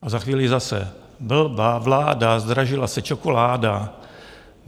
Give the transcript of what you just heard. A za chvíli zase: Blbá vláda, zdražila se čokoláda!